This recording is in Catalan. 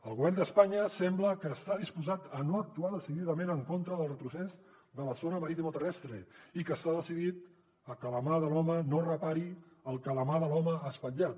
el govern d’espanya sembla que està disposat a no actuar decididament en contra del retrocés de la zona maritimoterrestre i que està decidit que la mà de l’home no repari el que la mà de l’home ha espatllat